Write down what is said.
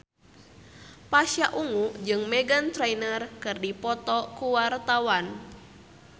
Pasha Ungu jeung Meghan Trainor keur dipoto ku wartawan